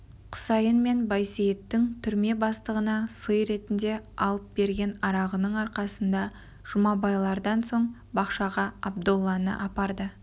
құсайын мен байсейіттің түрме бастығына сый ретінде алып берген арағының арқасында жұмабайлардан соң бақшаға абдолланы апарды